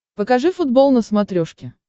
покажи футбол на смотрешке